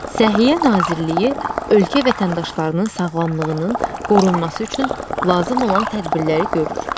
Səhiyyə Nazirliyi ölkə vətəndaşlarının sağlamlığının qorunması üçün lazım olan tədbirləri görür.